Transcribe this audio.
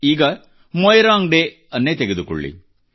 ಈಗ ಮೊಯಿರಾಂಗ್ ಡೆ ಯನ್ನೇ ತೆಗೆದುಕೊಳ್ಳಿ